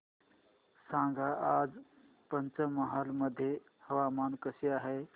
सांगा आज पंचमहाल मध्ये हवामान कसे आहे